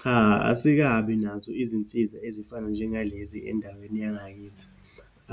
Cha, asikabi nazo izinsiza ezifana njengalezi endaweni yangakithi.